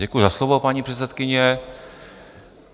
Děkuju za slovo, paní předsedkyně.